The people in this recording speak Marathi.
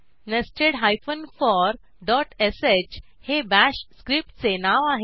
nested फोर डॉट श हे बाश स्क्रिप्टचे नाव आहे